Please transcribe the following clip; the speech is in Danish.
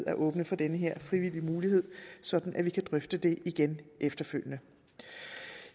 at åbne for den her frivillige mulighed sådan at vi kan drøfte det igen efterfølgende